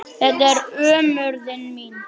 Þetta er ömurðin mín.